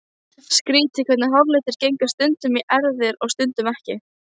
Skrýtið hvernig háralitur gengur stundum í erfðir og stundum ekki.